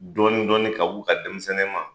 Dɔɔnin dɔɔnin ka b'u ka denmisɛnnin ma.